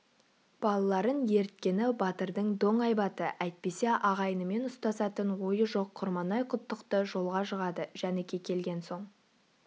балаларын еріткені батырдың доң айбаты әйтпесе ағайынымен ұстасатын ойы жоқ құрманай-құттықты жолға жығады жәніке келген соң